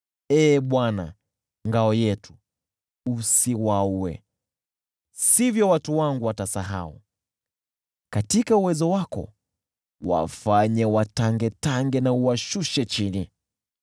Lakini usiwaue, Ee Bwana , ngao yetu, au sivyo watu wangu watasahau. Katika uwezo wako wafanye watangetange na uwashushe chini.